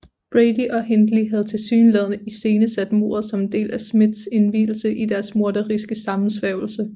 Brady og Hindley havde tilsyneladende iscenesat mordet som en del af Smiths indvielse i deres morderiske sammensværgelse